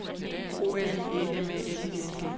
O L I E M A L I N G